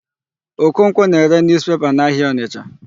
Okonkwo na-ere newspaper n'ahịa Ọnịcha.